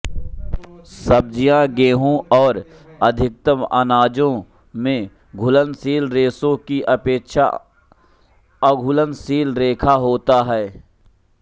सब्जियां गेहू और अधिकतर अनाजों में घुलनशील रेशे की अपेक्षा अघुलनशील रेशा होता है